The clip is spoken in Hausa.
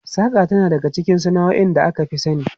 Saƙa tana cikin sana'o'in da aka fi sani.